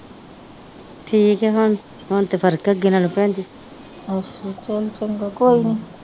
ਠੀਕ ਆ ਹੁਣ ਤੇ ਫਰਕ ਆ ਅੱਗੇ ਨਾਲੋਂ ਭੈਣ ਜੀ